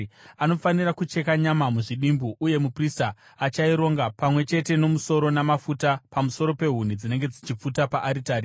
Anofanira kucheka nyama muzvidimbu uye muprista achaironga pamwe chete nomusoro namafuta pamusoro pehuni dzinenge dzichipfuta paaritari.